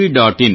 in